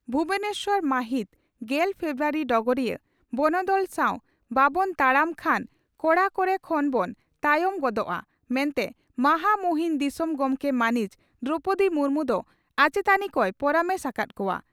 ᱵᱷᱩᱵᱚᱱᱮᱥᱚᱨ ᱢᱟᱦᱤᱛ ᱜᱮᱞ ᱯᱷᱮᱵᱨᱩᱣᱟᱨᱤ (ᱰᱚᱜᱚᱨᱤᱭᱟᱹ) ᱺ ᱵᱚᱱᱚᱫᱚᱞ ᱥᱟᱣ ᱵᱟᱵᱚᱱ ᱛᱟᱲᱟᱢ ᱠᱷᱟᱱ ᱠᱚᱲᱟ ᱠᱚᱨᱮ ᱠᱷᱚᱱ ᱵᱚᱱ ᱛᱟᱭᱚᱢ ᱜᱚᱫᱚᱜᱼᱟ ᱢᱮᱱᱛᱮ ᱢᱟᱦᱟᱢᱩᱦᱤᱱ ᱫᱤᱥᱚᱢ ᱜᱚᱢᱠᱮ ᱢᱟᱹᱱᱤᱡ ᱫᱨᱚᱣᱯᱚᱫᱤ ᱢᱩᱨᱢᱩ ᱫᱚ ᱟᱪᱮᱛᱟᱱᱤ ᱠᱚᱭ ᱯᱚᱨᱟᱢᱮᱥ ᱟᱠᱟᱫ ᱠᱚᱣᱟ ᱾